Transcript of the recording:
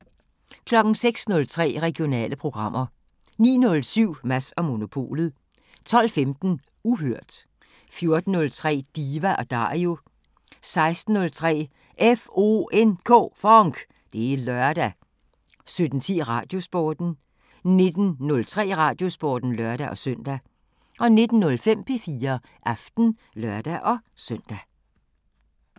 06:03: Regionale programmer 09:07: Mads & Monopolet 12:15: Uhørt 14:03: Diva & Dario 16:03: FONK! Det er lørdag 17:10: Radiosporten 19:03: Radiosporten (lør-søn) 19:05: P4 Aften (lør-søn)